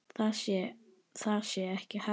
Það sé ekki hægt.